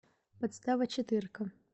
подстава четырка